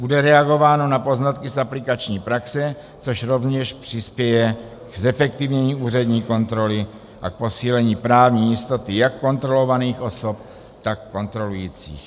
Bude reagováno na poznatky z aplikační praxe, což rovněž přispěje k zefektivnění úřední kontroly a k posílení právní jistoty jak kontrolovaných osob, tak kontrolujících.